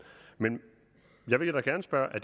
men jeg vil da gerne spørge er